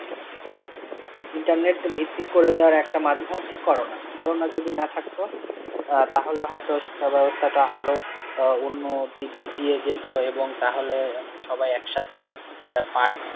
internet ভিত্তিক করে, ধরো একটা মাধ্যম হচ্ছে করোনা, করোনা যদি না থাকতো? আহ তাহলে হয়তো শিক্ষা ব্যবস্থা আরও আহ উন্নতির দিক দিয়ে যেত এবং তাহলে সবাই একসাথে আহ part